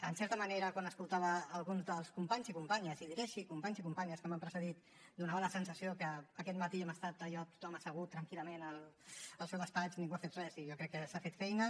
en certa manera quan escoltava alguns dels companys i companyes i els diré així companys i companyes que m’han precedit donava la sensació que aquest matí hem estat allò tothom assegut tranquil·lament al seu despatx ningú ha fet res i jo crec que s’ha fet feina